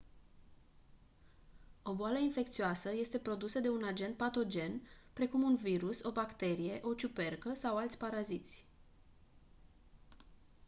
o boală infecțioasă este produsă de un agent patogen precum un virus o bacterie o ciupercă sau alți paraziți